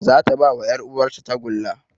Zata bawa yar uwar ta tagulla